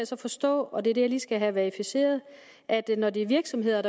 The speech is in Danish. så forstå og det er det jeg lige skal have verificeret at når det er virksomheder